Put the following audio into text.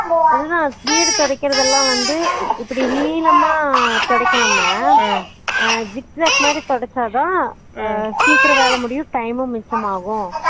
அது தான் வீடு தொடைக்கறது வந்து இப்புடி நிளாம தொடைக்கமா அஹ் zigzag மாறி தொடைச்சா தான் அஹ் சீக்கரம் வேலை முடியும் time உம் மிச்சம் ஆகும்